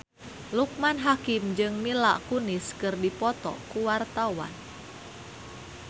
Loekman Hakim jeung Mila Kunis keur dipoto ku wartawan